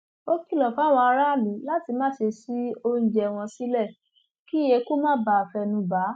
ó kìlọ fáwọn aráàlú láti má ṣe ṣí oúnjẹ wọn sílẹ kí eku má bàa fẹnu bà á